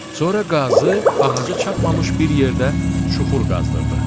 Sonra qazı ağaca çatmamış bir yerdə çuxur qazdırdı.